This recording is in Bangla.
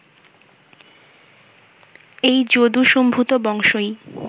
এই যদুসম্ভূত বংশই